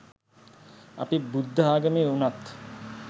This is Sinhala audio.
අපි බුද්ධ ආගමේ උනත්